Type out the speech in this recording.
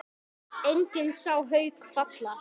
Enginn sá Hauk falla.